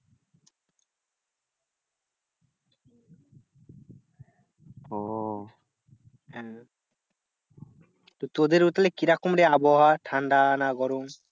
ওহ তো তোদের ওখানে কিরাম রে আবহাওয়া ঠান্ডা না গরম?